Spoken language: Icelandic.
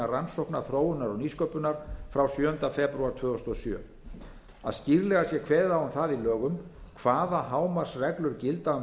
rannsókna þróunar og nýsköpunar frá sjöunda febrúar tvö þúsund og sjö að skýrlega sé kveðið á um það í lögum hvaða hámarksreglur gilda